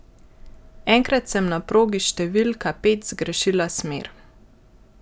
Enkrat sem na progi številka pet zgrešila smer.